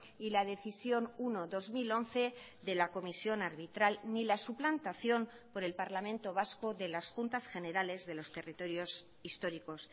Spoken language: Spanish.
y la decisión uno barra dos mil once de la comisión arbitral ni la suplantación por el parlamento vasco de las juntas generales de los territorios históricos